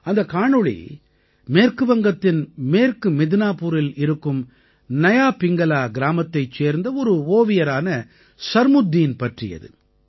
அந்தக் காணொளி மேற்கு வங்கத்தின் மேற்கு மித்னாபூரில் இருக்கும் நயா பிங்கலா கிராமத்தைச் சேர்ந்த ஒரு ஓவியரான சர்முத்தீன் பற்றியது